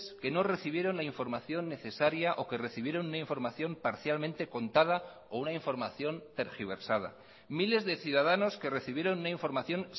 que no recibieron la información necesaria o que recibieron una información parcialmente contada o una información tergiversada miles de ciudadanos que recibieron una información